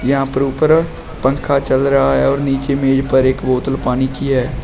यहां पर ऊपर पंखा चल रहा है और नीचे मेज पर एक बोतल पानी की है।